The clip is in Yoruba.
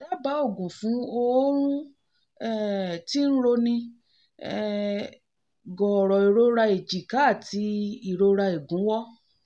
dábàá oògùn fún ọrùn um tí ń roni um gooro ìrora èjìká àti ìrora ìgúnwọ́